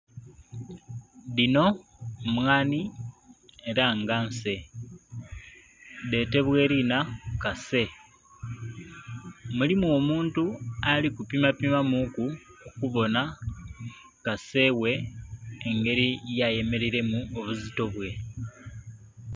Dhino mmwanhi era nga nsee dhetebwa eriina kasee, mulimu omuntu ali kupima pimamu ku okubonha kasee ghe ngeri yayemereiremu mu buzito bwe.